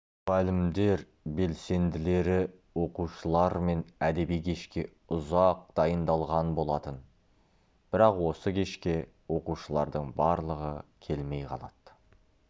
мұғалімдер белсенділері оқушылармен әдеби кешке ұзақ дайындалған болатын бірақ осы кешке оқушылардың барлығы келмей қалады